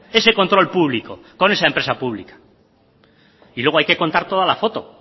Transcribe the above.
ese control público con esa empresa pública y luego hay que contar toda la foto